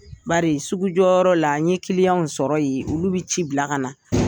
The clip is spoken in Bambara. Bari sugu jɔyɔrɔ la n ye kiliyanw sɔrɔ ye olu bɛ ci bila ka na.